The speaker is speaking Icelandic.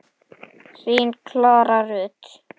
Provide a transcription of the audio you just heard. Þín Klara Rut.